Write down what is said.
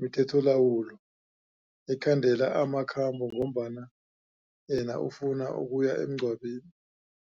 mithetholawulo ekhandela amakhambo ngombana yena afuna ukuya emngcwabeni.